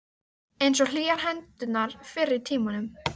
Einsog hlýjar hendurnar fyrr í tímanum.